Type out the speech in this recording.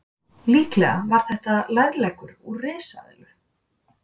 líklega var þetta lærleggur úr risaeðlu